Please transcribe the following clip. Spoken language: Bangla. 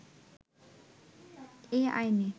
এ আইনে